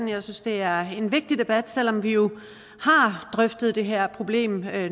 jeg synes det er en vigtig debat selv om vi jo har drøftet det her problem